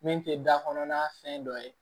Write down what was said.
Min tɛ da kɔnɔna fɛn dɔ ye